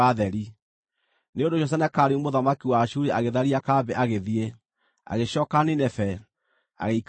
Nĩ ũndũ ũcio Senakeribu mũthamaki wa Ashuri agĩtharia kambĩ agĩthiĩ; agĩcooka Nineve, agĩikara kuo.